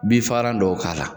Binfagalan dɔw k' ala